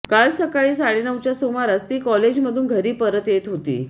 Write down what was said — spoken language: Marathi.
काल सकाळी साडेनऊच्या सुमारास ती कॉलेजमधून घरी परत येत होती